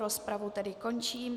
Rozpravu tedy končím.